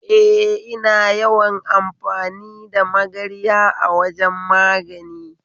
Eh, ina yawan amfani da magarya a wajan magani